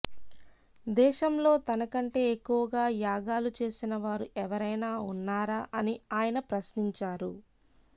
దేశంలో తన కంటే ఎక్కువగా యాగాలు చేసిన వారు ఎవరైనా ఉన్నారా అని ఆయన ప్రశ్నించారు